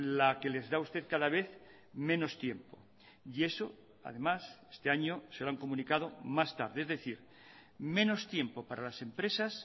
la que les da usted cada vez menos tiempo y eso además este año se lo han comunicado más tarde es decir menos tiempo para las empresas